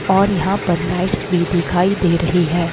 और यहां पर लाइट्स भी दिखाई दे रही है।